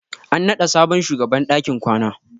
An naɗa sabon shugaban dakin kwana.